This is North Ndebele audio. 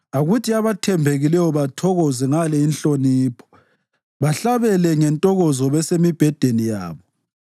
Akuthi abathembekileyo bathokoze ngale inhlonipho, bahlabele ngentokozo besemibhedeni yabo.